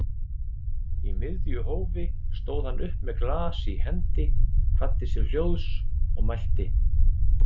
Í miðju hófi stóð hann upp með glas í hendi, kvaddi sér hljóðs og mælti